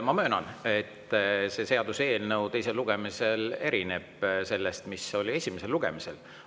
Ma möönan, et teisel lugemisel see seaduseelnõu erineb sellest, mis oli esimesel lugemisel.